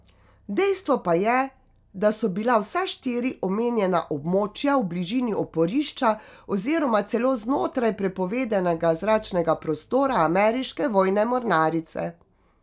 Dejstvo pa je, da so bila vsa štiri omenjena območja v bližini oporišča oziroma celo znotraj prepovedanega zračnega prostora ameriške vojne mornarice.